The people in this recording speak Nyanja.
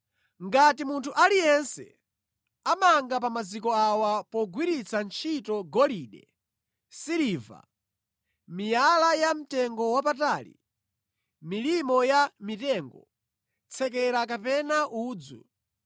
Ngati munthu aliyense amanga pa maziko awa pogwiritsa ntchito golide, siliva, miyala yamtengowapatali, milimo yamitengo, tsekera kapena udzu,